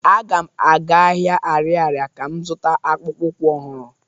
Aga m aga ahia Ariaria ka m zụta akpụkpọụkwụ ọhụrụ